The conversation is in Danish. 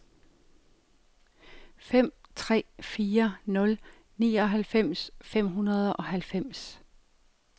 fem tre fire nul nioghalvfems fem hundrede og halvfems